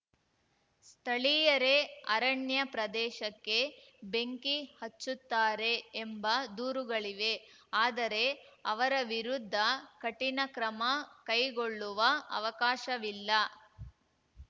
ಸ್ಥಳೀಯರೇ ಅರಣ್ಯ ಪ್ರದೇಶಕ್ಕೆ ಬೆಂಕಿ ಹಚ್ಚುತ್ತಾರೆ ಎಂಬ ದೂರುಗಳಿವೆ ಆದರೆ ಅವರ ವಿರುದ್ಧ ಕಠಿಣ ಕ್ರಮ ಕೈಗೊಳ್ಳುವ ಅವಕಾಶವಿಲ್ಲ